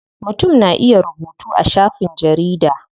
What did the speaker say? Mutum na iya rubutu a shafin jarida.